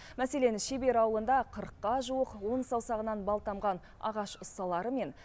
мәселен шебер ауылында қырыққа жуық он саусағынан бал тамған ағаш ұсталары мен